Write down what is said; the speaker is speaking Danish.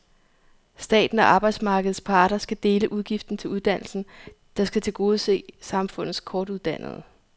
Staten og arbejdsmarkedets parter skal dele udgiften til uddannelsen, der skal tilgodese samfundets kortuddannede.